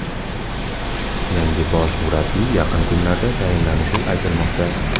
Yangi bosh murabbiy yaqin kunlarda tayinlanishi aytilmoqda.